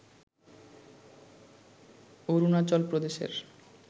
অরুণাচল প্রদেশের